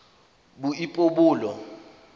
boipobolo